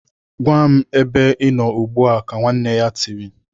"Gwa m ebe Ị nọ ugbu a!" Ka nwanne ya tiri.